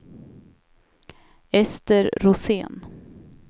Ester Rosén